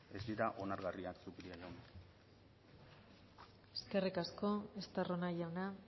ez dira onargarria zupiri jauna eskerrik asko estarrona jauna